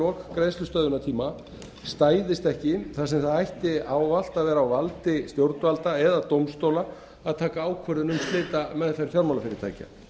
lok greiðslustöðvunartíma stæðist ekki þar sem það ætti ávallt að vera á valdi stjórnvalda eða dómstóla að taka ákvörðun um slitameðferð fjármálafyrirtækja